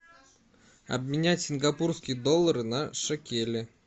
обменять сингапурские доллары на шекели